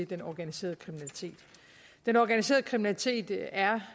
den organiserede kriminalitet den organiserede kriminalitet er